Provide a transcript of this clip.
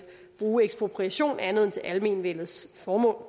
bruge ekspropriation til andet end almenvellets formål